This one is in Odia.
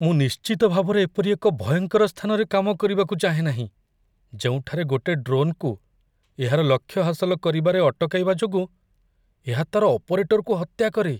ମୁଁ ନିଶ୍ଚିତ ଭାବରେ ଏପରି ଏକ ଭୟଙ୍କର ସ୍ଥାନରେ କାମ କରିବାକୁ ଚାହେଁ ନାହିଁ ଯେଉଁଠାରେ ଗୋଟେ ଡ୍ରୋନ୍‌କୁ ଏହାର ଲକ୍ଷ୍ୟ ହାସଲ କରିବାରେ ଅଟକାଇବା ଯୋଗୁଁ ଏହା ତା'ର ଅପରେଟରକୁ ହତ୍ୟା କରେ।